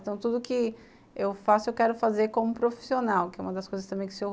Então, tudo o que eu faço, eu quero fazer como profissional, que é uma das coisas que o Sr.